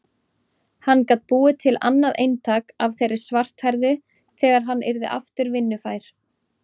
Hann gat búið til annað eintak af þeirri svarthærðu þegar hann yrði aftur vinnufær.